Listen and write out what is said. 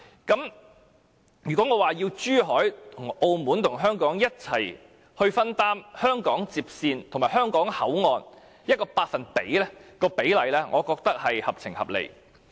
因此，我要求珠海和澳門與香港共同分擔香港接線和香港口岸某個百分比的費用比例，我認為便是合情合理的。